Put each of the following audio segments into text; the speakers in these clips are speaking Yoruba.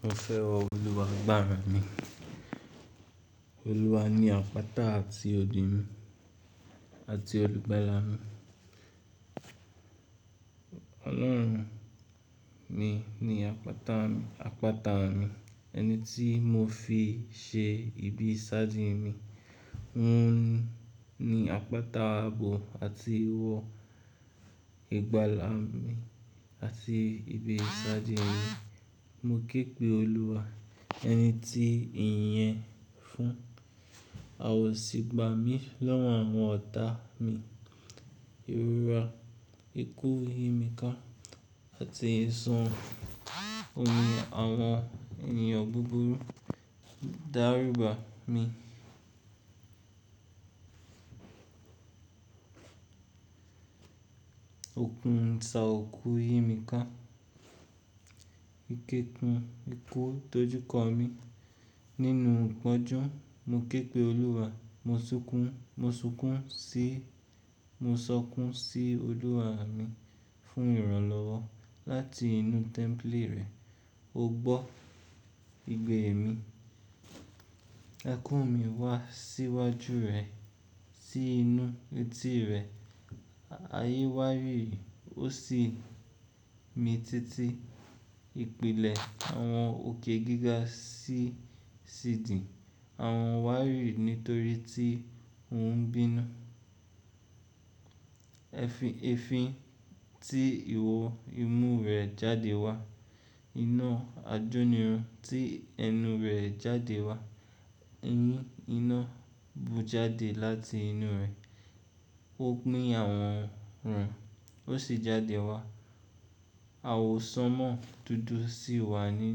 Mo fẹ́ wọ Olúwa gbára mi. Olúwa ni àpáta àti odi mi àti olùgbàlà mi. Ọlọ́run mi ni apata mi-- àpáta mi, ẹni tí mo fi ṣe ibi isaadi mi. Óun nií àpáta abo àti wọ ìgbàlà mi àti ibi isaadi mi. Mo ké pe Olúwa, ẹni tí ìyẹn fún à ọ̀ sì gbà mí lọ́wọ́ àwọn ọ̀tá mi. Ìrora, ikú, yimika àti èsan òhun àwọn ènìyàn búburú dáríba mi. Òkun isà òku yimiká, ikekun ikú doúkọ mi nínú ìpọ́njú. Mo ké pe Olúwa, mo sunkún--mo sunkun-- mo sokun sí Olúwa mi fún ìrànlọ́wọ́ láti inú temple rẹ̀. Ó gbọ́ ìgbẹ́ mi, ẹkún mi wá sí iwájú rẹ̀, sí inú etí rẹ̀. Ayé wárìri, ó sì mi títí. Ìpìlẹ̀ àwọn òkè gíga sì sidì, àwọn wárì nítorí tí òun ń bínú. Ẹfin tí ìwọ imú rẹ̀ jáde wá, iná ajónirun tí ẹnu rẹ̀ jáde wá. Eyín iná bú jáde láti inú rẹ̀. Ó pin àwọn re, ó sì jáde wá. Àwọ̀ sánmọ́ dúdú sì wà ní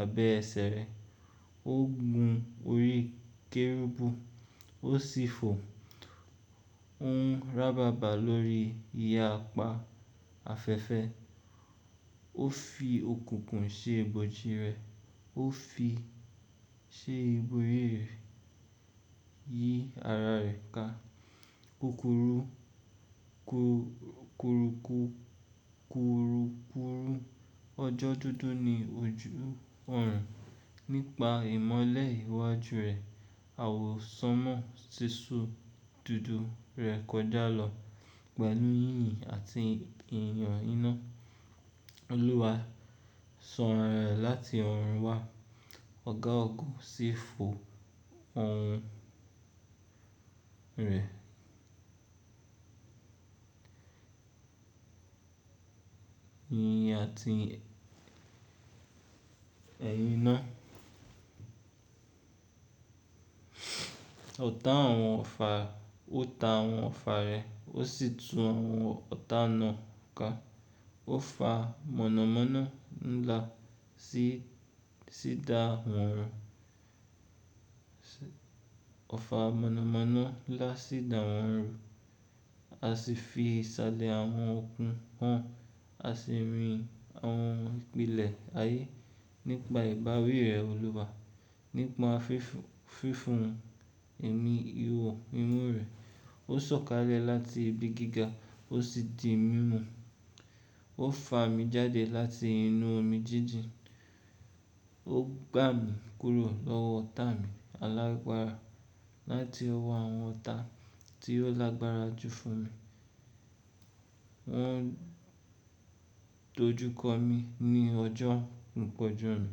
abẹ́ ẹsẹ̀ rẹ̀. Ó gun orí kẹ́rúbù, ó sì fò. Ó ń ràbàbà lórí iye- apá afẹ́fẹ́. Ó fi okùnkùn ṣe ibojì rẹ̀, ó fi ṣe ibori rẹ̀, yí ara rẹ̀ ká. Kukuru, ku-ku-ru-ku-ku ọjọ́ dúdú ni ojú ọ̀run nípa ìmọ́lẹ̀ iwájú rẹ̀. Àwọ̀ sánmọ́ sísu dúdú rẹ̀ kọjá lọ pẹ̀lú yínyìn àti ìyàn iná. Olúwa sọ ara rẹ̀ láti ọ̀run wá. Ọ̀gá Ògo sì fò ọ̀hun rẹ̀ yínyìn àti ẹ̀yín iná. Ọ̀tá àwọn ọ̀fà, ó ta àwọn ọ̀fà rẹ̀, ó sì tú àwọn ọ̀tá náà ká. Ó fa mọ̀nàmọ́ná ńlá ofa monamona la sídá wọn ru A sì fi ìsàlẹ̀ àwọn okun hàn, a sì rin àwọn ìpìlẹ̀ ayé nípa ìbáwí rẹ̀ Olúwa. Nípa fífún ẹ̀mí ìwọ imú rẹ̀. Ó sọ̀kalẹ̀ láti ibi gíga, ó sì di mímú. Ó fa mi jáde láti inú omi jíjìn. Ó gbà mí kúrò lọ́wọ́ ọ̀tá mi alágbára láti ọwọ́ àwọn ọ̀tá tí ó lágbára jù fún mi. Wọ́n dojúkọ mi ní ọjọ́ ìpọ́njú mi,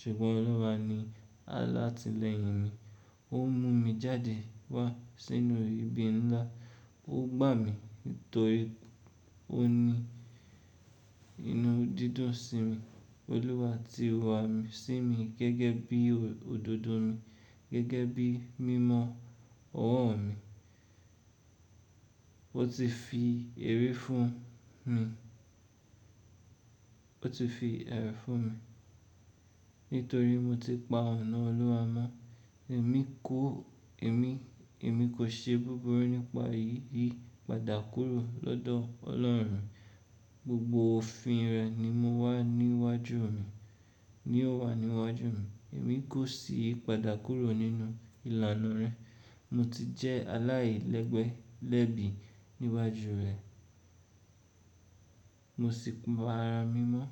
ṣùgbọ́n Olúwa ni alátileyin mi Ó mú mi jáde wá sínú ibi ńlá. Ó gbà mí nítorí ó ní inú dídùn sí mi. Olúwa ti wà sí mi gẹ́gẹ́ bí òdodo mi, gẹ́gẹ́ bí mímọ ọwọ́ mi. Ó ti fi ère fun mi fún mi nítorí mo ti pa ọ̀nà Olúwa mọ́. Èm ko- Emi- Emi i kò ṣe búburú nípa ìyípadà kúrò lọ́dọ̀ Ọlọ́run. Gbogbo òfin rẹ̀ ni mo wa niwaju mi-- ni ó wà níwájú mi. Èmi kò sì yípadà kúrò nínú ìlànà rẹ̀. Mo ti jẹ́ aláìlẹ́gbẹ́ lẹ́bi níwájú rẹ̀. Mo sì para mímọ́.